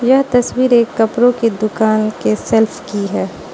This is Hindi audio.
यह तस्वीर एक कपड़ों की दुकान के शेल्फ की है।